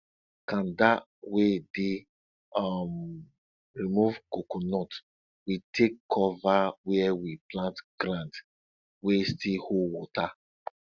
kanda wey dey um remove coconut we take cover where we plant ground wey still hold water